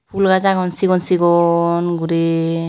Phool gach agon sigon sigon gori.